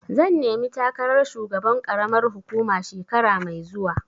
Zan nemi takarar shugaban ƙaramar hukuma shekara mai zuwa.